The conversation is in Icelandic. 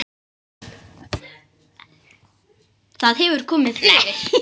Það hefur komið fyrir.